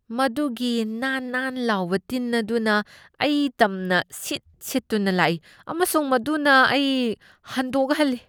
ꯃꯗꯨꯒꯤ ꯅꯥꯟ ꯅꯥꯟ ꯂꯥꯎꯕ ꯇꯤꯟ ꯑꯗꯨꯅ ꯑꯩ ꯇꯝꯅ ꯁꯤꯠ ꯁꯤꯠꯇꯨꯅ ꯂꯥꯛꯏ ꯑꯃꯁꯨꯡ ꯃꯗꯨꯅ ꯑꯩ ꯍꯟꯗꯣꯛꯍꯟꯂꯤ꯫